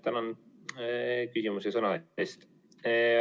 Tänan küsimuse ja sõna andmise eest!